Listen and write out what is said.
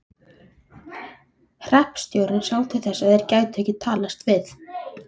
Hreppstjórinn sá til þess að þeir gætu ekki talast við.